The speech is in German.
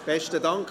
Besten Dank.